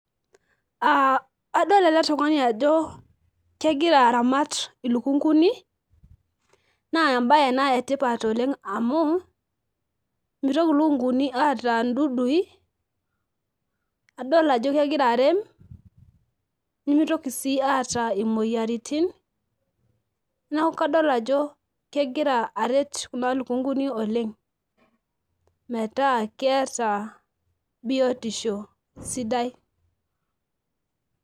Aa adol eletungani ajo egira aramat ilukunguni na embae ena etipat oleng amu mitoki lukunguni aata ndudui adolta ajo egira arem nimitoki si ata moyiaritin neaku akdol ajo kegira aret kuna lukunguni oleng metaa keeta biotisho sidai